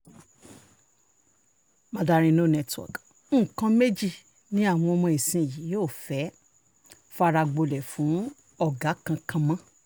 mandarin no network nǹkan méjì ni àwọn ọmọ ìsinyìí ò fẹ́ẹ́ fara gbolẹ̀ fún ọ̀gá kankan mọ́